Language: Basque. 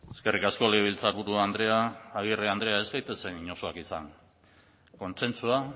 eskerrik asko legebiltzarburu andrea agirre andrea ez gaitezen inozoak izan kontsentsua